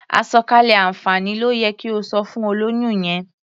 Àsọ̀kalẹ̀ àǹfààní ló yẹ kí o sọ fún olóyún yẹn.